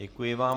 Děkuji vám.